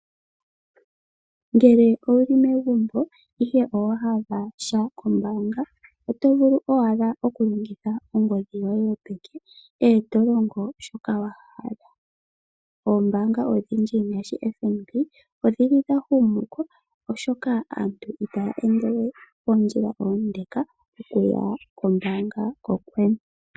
Ngele owu li megumbo ihe owa hala sha kombaanga oto vulu owala okulongitha ongodhi yoye yo peke, e to longo shoka wa hala. Ombaanga odhindji ngaashi FNB odhi li dha humu ko oshoka santubitaya ende we oondjila oondeka okuya kombaanga kokwene.